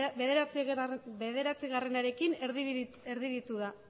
bederatziarekin erdibitu da